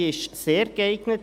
Sie ist sehr geeignet.